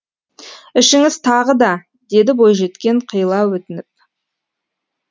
ішіңіз тағы да деді бойжеткен қиыла өтініп